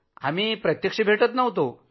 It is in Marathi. आम्ही भेटत नव्हतो